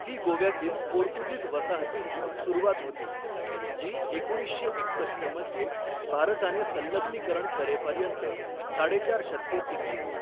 ही गोव्यातील पोर्तुगीज वसाहतीची सुरुवात होती, जी एकोणीसशे एकसष्ट मध्ये भारताने संलग्नीकरण करेपर्यंत साडेचार शतके टिकली.